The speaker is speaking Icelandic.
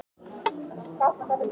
Reykjavík: Háskóli Íslands.